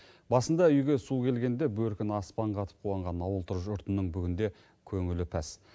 басында үйге су келгенде бөркін аспанға атып қуанған ауыл жұртының бүгінде көңілі пәс